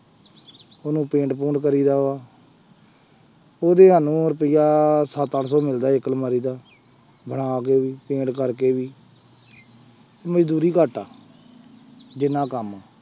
ਉਹਨੂੰ ਪੇਂਟ ਪੂੰਟ ਕਰੀਦਾ ਵਾ ਉਹਦੇ ਸਾਨੂੰ ਰੁਪਇਆ ਸੱਤ ਅੱਠ ਸੌ ਮਿਲਦਾ ਇੱਕ ਅਲਮਾਰੀ ਦਾ ਬਣਾ ਕੇ ਵੀ ਪੇਂਟ ਕਰਕੇ ਵੀ ਮਜ਼ਦੂਰੀ ਘੱਟ ਆ ਜਿੰਨਾ ਕੰਮ ਆਂ।